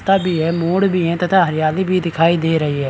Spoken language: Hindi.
--ता भी है मोड़ भी है तथा हरियाली भी दिखाई दे रही है ।